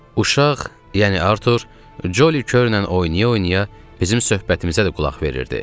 Uşaq, yəni Artur, Joli Körnən oynaya-oynaya bizim söhbətimizə də qulaq verirdi.